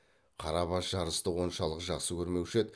қарабас жарысты оншалық жақсы көрмеуші еді